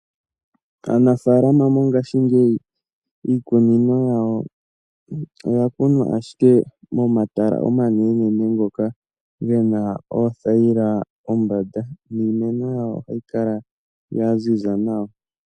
Aanafaalama mongashingeyi iikunino yawo oya kunwa ashike momatala omanenenene ngoka ge na oothayila kombanda, niimeno yawo ohayi kala ya ziza nawa.